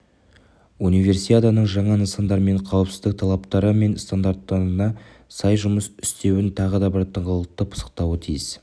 универсиаданың жаңа нысандарының қауіпсіздік талаптары мен стандарттарына сай жұмыс істеуін тағы бір тыңғылықты пысықтауы тиіс